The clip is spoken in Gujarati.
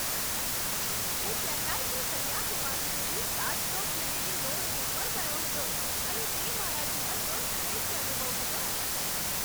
હું ચેન્નાઈથી કન્યાકુમારી સુધી સાતસો કિમીની રોડ ટ્રીપ પર ગયો હતો અને તે મારા જીવનનો શ્રેષ્ઠ અનુભવ હતો.